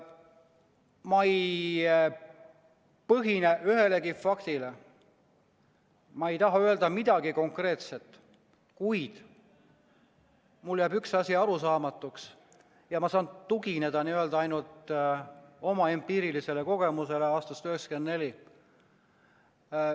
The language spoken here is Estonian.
Ma ei toetu ühelegi faktile, ma ei taha öelda midagi konkreetset, kuid mulle jääb üks asi arusaamatuks ja ma saan siin tugineda ainult oma empiirilisele kogemusele aastast 1994.